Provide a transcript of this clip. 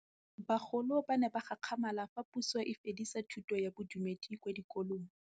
Bagolo ba ne ba gakgamala fa Pusô e fedisa thutô ya Bodumedi kwa dikolong.